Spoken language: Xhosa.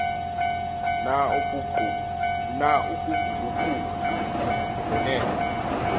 na ukuguquka ngokwenene